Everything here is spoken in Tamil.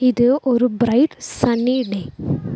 இது ஒரு பிரைட் சன்னி டே .